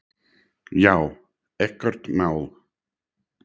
Já, ekkert mál!